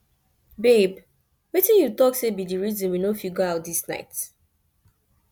babe wetin you talk say be the reason we no fit go out this night